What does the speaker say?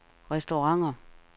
restauranter